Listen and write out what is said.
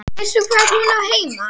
Veistu hvar hún á heima?